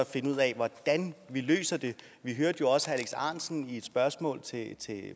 finde ud af hvordan vi løser det vi hørte jo også herre alex ahrendtsen i et spørgsmål til